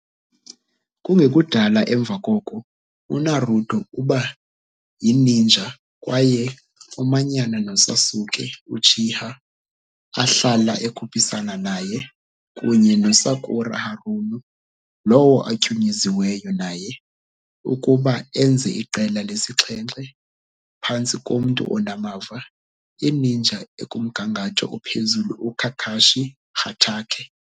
Kungekudala emva koko, uNaruto uba yininja kwaye umanyana noSasuke Uchiha, ahlala ekhuphisana naye, kunye noSakura Haruno, lowo atyunyuziweyo naye, ukuba enze iQela lesi-7, phantsi komntu onamava, i-ninja ekumgangatho ophezulu uKakashi Hatake.